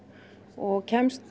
og kemst